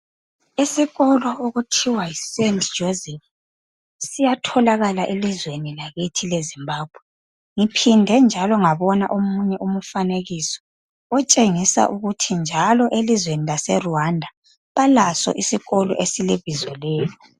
Isikolo okuthiwa yi St Joseph's siyatholakala elizweni lakithi leZimbabwe. Ngiphinde njalo ngabona omunye umfanekiso otshengisa ukuthi njalo elizweni kaseRwanda balaso isikolo esilebizo leli.